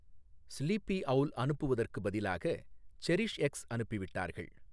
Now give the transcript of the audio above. sleepy owl அனுப்புவதற்குப் பதிலாக செரிஷ்எக்ஸ் அனுப்பிவிட்டார்கள்